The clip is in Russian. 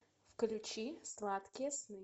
включи сладкие сны